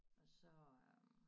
Og så øh